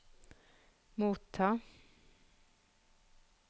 motta